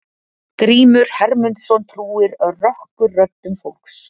Grímur Hermundsson trúir rökkurröddum fólks.